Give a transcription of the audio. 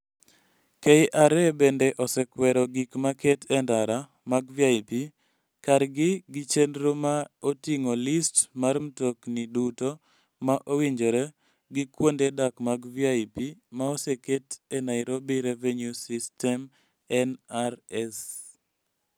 KRA bende osekwero gik maket e ndara mag VIP kargi gi chenro ma oting'o list mar mtokni duto ma owinjore gi kuonde dak mag VIP ma oseket e Nairobi Revenue System (NRS).